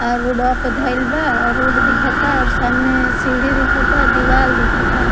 आ रोड वा पर धइल बा रोड दिखाता और सामने सीढ़ी दिखता और दीवाल दिखता--